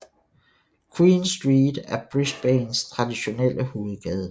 Queen Street er Brisbanes traditionelle hovedgade